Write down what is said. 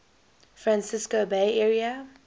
francisco bay area